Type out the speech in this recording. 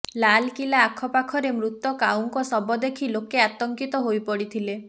ଲାଲକିଲ୍ଲା ଆଖପାଖରେ ମୃତ କାଉଙ୍କ ଶବ ଦେଖି ଲୋକେ ଆତଙ୍କିତ ହୋଇପଡିଥିଲେ